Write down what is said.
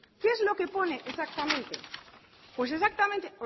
qué es lo que pone exactamente pues exactamente